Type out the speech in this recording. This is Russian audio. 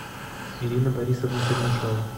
ирина борисовна чернышова